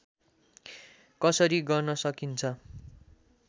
कसरी गर्न सकिन्छ